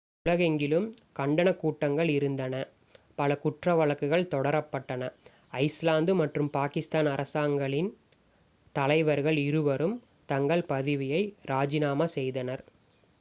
உலகெங்கிலும் கண்டனக் கூட்டங்கள் இருந்தன பல குற்ற வழக்குகள் தொடரப்பட்டன ஐஸ்லாந்து மற்றும் பாகிஸ்தான் அரசாங்கங்களின் தலைவர்கள் இருவரும் தங்கள் பதவியை இராஜினாமா செய்தனர்